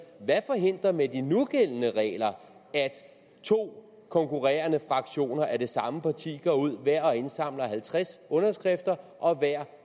hvad forhindrer med de nugældende regler at to konkurrerende fraktioner af det samme parti går ud hver og indsamler halvtreds underskrifter og hver